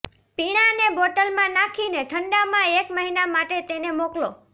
પીણાંને બોટલમાં નાખીને ઠંડામાં એક મહિના માટે તેને મોકલો